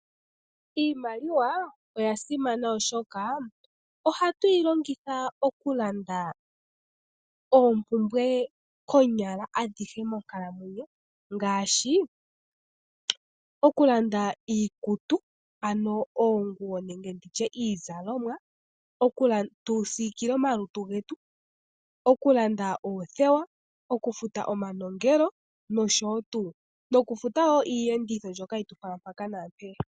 Iimaliwa oya simana oshoka ohatu yi longitha okulanda oompumbwe konyala adhihe monkalamwenyo ngaashi okulanda iikutu ano oonguwo nenge ndi tye iizalomwa, tu siikile omalutu getu, okulanda oothewa okufuta omanongelo nosho tuu okufuta iiyenditho mbyoka hayi tu fala mpaka naampeyaka.